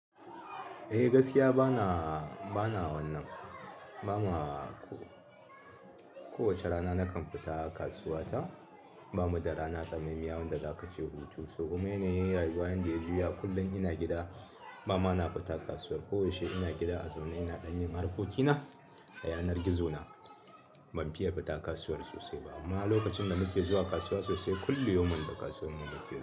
Eh gaskiya bana, bana wannan. Ba ma ko wace rana na kan fita kasuwa ta. Ba mu da rana tsamamiyar wanda za ka ce hutu. Toh kuma yana yin rayuwa yanda ya juya kullum ina gida. Ba ma na fita kasuwar. Kowace ina gida a zaune ina ɗan yin harkokina da yanar gizo na. Ban fiye fita kasuwar sosai ba. Amma lokacin da muke zuwa kasuwa sosai, kullum yoman a kasuwar mu muke zuwa.